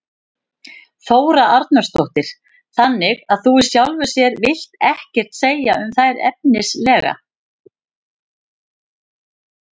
Þóra Arnórsdóttir: Þannig að þú í sjálfu sér vilt ekkert segja um þær efnislega?